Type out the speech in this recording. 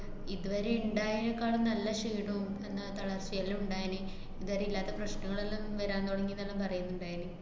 ഇതുവരെ ഇണ്ടായീനേക്കാളും നല്ല ക്ഷീണോം പിന്നെ തളര്‍ച്ചേല്ലാം ഇണ്ടായീന്, ഇതുവരെയില്ലാത്ത പ്രശ്നങ്ങളെല്ലാം ഞ്ഞ് വരാന്‍ തുടങ്ങീന്നാണ് പറയ്ന്ന്ണ്ടായീന്.